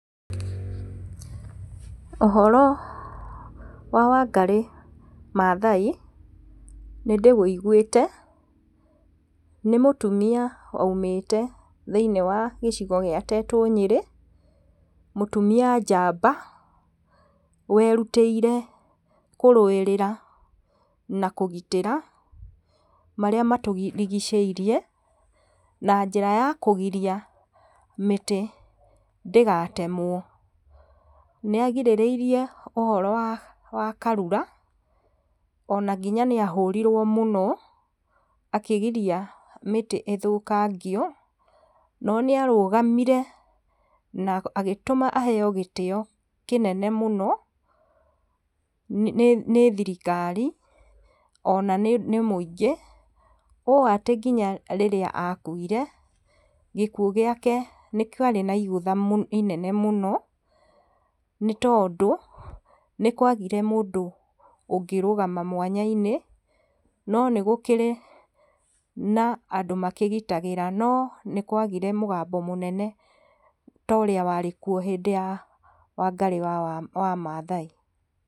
Ũhoro wa Wangarĩ Mathai, nĩndĩwũiguĩte, nĩ mũtumia waumĩte thĩiniĩ wa gĩcigo gĩa Tetũ Nyĩrĩ, mũtumia njamba werutĩire kũrũĩrĩra na kũgitĩra marĩa matũrigicĩirie na njĩra ya kũgiria mĩtĩ ndĩgatemwo. Nĩ agirĩrĩirie ũhoro wa Karura, ona nginya nĩahũrirwo mũno akĩgiria mĩtĩ ĩthũkangio, no nĩarũgamire na agĩtũma aheyo gĩtĩo kĩnene mũno nĩ thirikari, ona nĩ mũingĩ, ũũ atĩ nginya rĩrĩa akuire, gĩkuũ gĩake nĩ kĩarĩ na igũtha inene mũno, nĩ tondũ nĩkwagire mũndũ ũngĩrũgama mwanya-inĩ, no nĩ gũkĩrĩ na andũ magitagĩra, no nĩkwagire mũgambo mũnene ta ũrĩa warĩkuo hĩndĩ ya Wangarĩ wa Mathai.